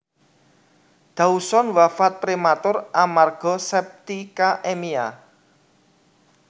Dawson wafat prematur amerga septicaemia